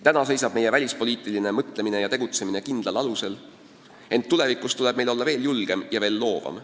Täna seisab meie välispoliitiline mõtlemine ja tegutsemine kindlal alusel, ent tulevikus tuleb meil olla veel julgem ja veel loovam.